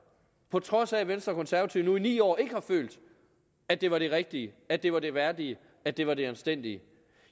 på trods af at venstre og konservative i ni år ikke har følt at det var det rigtige at det var det værdige at det var det anstændige